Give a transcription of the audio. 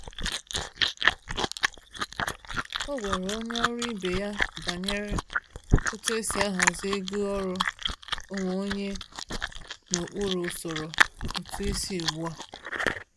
O gwara onye ọrụ ibe ya banyere otu esi ahazi ego ọrụ onwe onye n’okpuru usoro ụtụisi ugbu a.